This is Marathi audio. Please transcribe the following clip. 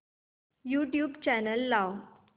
यूट्यूब चॅनल लाव